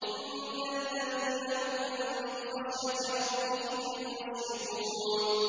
إِنَّ الَّذِينَ هُم مِّنْ خَشْيَةِ رَبِّهِم مُّشْفِقُونَ